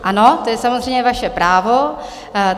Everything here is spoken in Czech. Ano, to je samozřejmě vaše právo.